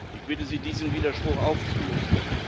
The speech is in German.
Ich bitte Sie, diesen Widerspruch aufzulösen.